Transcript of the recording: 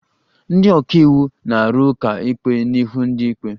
Ndị ọka iwu na-arụ ụka ikpe n'ihu ndị ikpe